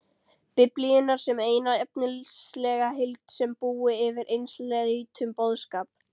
Biblíunnar sem eina efnislega heild sem búi yfir einsleitum boðskap.